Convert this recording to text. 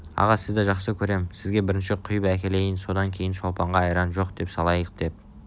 аға сізді жақсы көрем сізге бірінші құйып әкелейін содан кейін шолпанға айран жоқ дей салайық деп